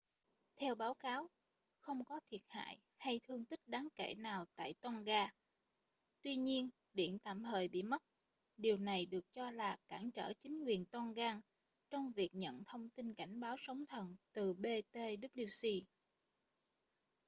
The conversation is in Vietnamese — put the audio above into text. theo báo cáo không có thiệt hại hay thương tích đáng kể nào tại tonga tuy nhiên điện tạm thời bị mất điều này được cho là cản trở chính quyền tongan trong việc nhận thông tin cảnh báo sóng thần từ ptwc